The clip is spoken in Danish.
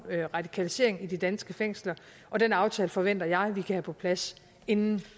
radikalisering i de danske fængsler den aftale forventer jeg vi kan have på plads inden